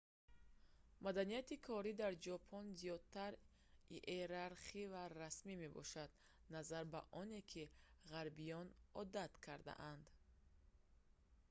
маданияти корӣ дар ҷопон зиёдтар иерархӣ ва расмӣ мебошад назар ба оне ки ғарбиён одат кардаанд